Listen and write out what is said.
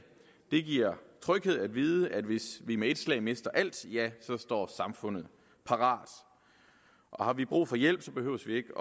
det giver tryghed at vide at hvis vi med et slag mister alt står samfundet parat og har vi brug for hjælp behøver vi ikke